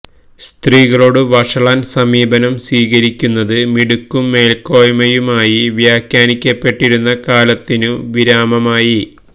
സ്ത്രീകളോടു വഷളൻ സമീപനം സ്വീകരിക്കുന്നത് മിടുക്കും മേൽക്കോയ്മയുമായി വ്യാഖ്യാനിക്കപ്പെട്ടിരുന്ന കാലത്തിനു വിരാമമായി